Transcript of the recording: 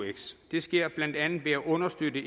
eux det sker blandt andet ved at understøtte